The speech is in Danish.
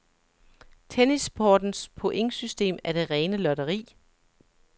Tennissportens pointsystem er det rene lotteri.